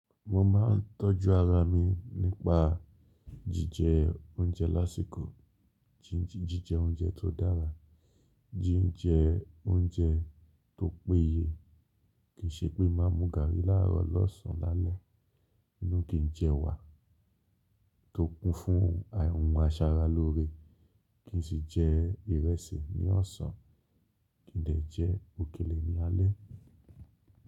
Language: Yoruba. Mo máa ń tọ́jú ara mi nípa jíjẹ oúnjẹ lásìkò, jíjẹ oúnjẹ tó dára, jíjẹ oúnjẹ tó péye. Kìí ṣe pé máa mu gààrí láàrọ̀, lọ́sàn lálẹ́, ninú kìí n jẹ ewa, tó kun fún ohun aṣaralóore. Kì í sì jẹ ìrẹsì ní ọ̀sán, kì í dẹ̀ jẹ òkèlè ní alé.